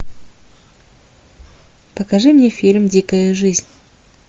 покажи мне фильм дикая жизнь